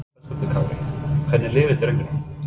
Höskuldur Kári: Hvernig líður drengnum?